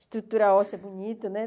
Estrutura óssea é bonita, né?